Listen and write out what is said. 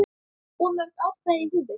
Of mörg atkvæði í húfi?